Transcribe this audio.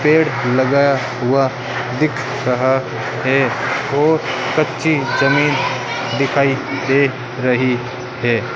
पेड़ लगाया हुआ दिख रहा है और कच्ची जमीन दिखाई दे रही है।